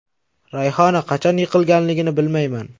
Rayhona qachon yiqilganligini bilmayman.